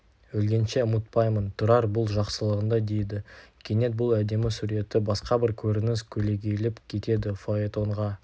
өлгенше ұмытпаймын тұрар бұл жақсылығыңды дейді кенет бұл әдемі суретті басқа бір көрініс көлегейлеп кетеді фаэтонға